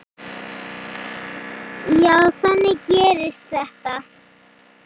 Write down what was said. Já, þannig gerist þetta.